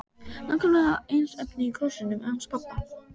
Nákvæmlega eins efni og í krossinum hans pabba!